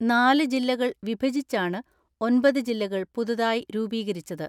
നാല് ജില്ലകൾ വിഭജിച്ചാണ് ഒമ്പത് ജില്ലകൾ പുതു തായി രൂപീകരിച്ചത്.